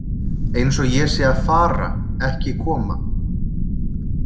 Eins og ég sé að fara, ekki koma.